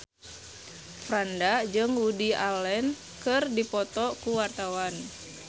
Franda jeung Woody Allen keur dipoto ku wartawan